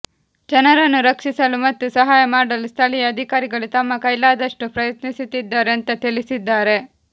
ಜನರನ್ನು ರಕ್ಷಿಸಲು ಮತ್ತು ಸಹಾಯ ಮಾಡಲು ಸ್ಥಳೀಯ ಅಧಿಕಾರಿಗಳು ತಮ್ಮ ಕೈಲಾದಷ್ಟು ಪ್ರಯತ್ನಿಸುತ್ತಿದ್ದಾರೆ ಅಂತಾ ತಿಳಿಸಿದ್ದಾರೆ